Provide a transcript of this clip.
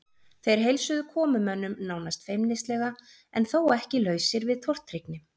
Þeir heilsuðu komumönnum nánast feimnislega en þó ekki lausir við tortryggni.